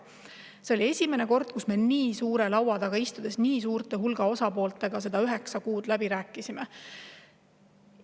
See oli esimene kord, kui me nii suure hulga osapooltega nii suure laua taga istusime ja üheksa kuud läbirääkimisi.